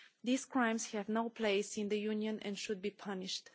These crimes have no place in the Union and should be punished.